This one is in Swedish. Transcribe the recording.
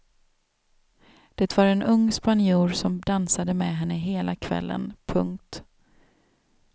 Det var en ung spanjor som dansade med henne hela kvällen. punkt